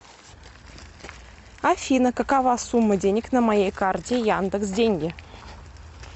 афина какова сумма денег на моей карте яндекс деньги